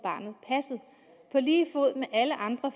lige fod med alle andre